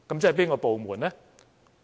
即哪個部門呢？